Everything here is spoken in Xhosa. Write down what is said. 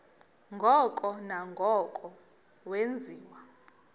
ngoko nangoko wenziwa